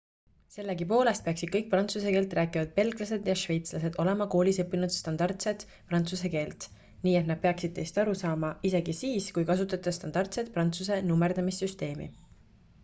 sellegipoolest peaksid kõik prantsuse keelt rääkivad belglased ja šveitslased olema koolis õppinud standardset prantsuse keelt nii et nad peaksid teist aru saama isegi siis kui kasutate standardset prantsuse nummerdamissüsteemi